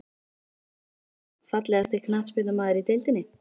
Emil Hallfreðsson Fallegasti knattspyrnumaðurinn í deildinni?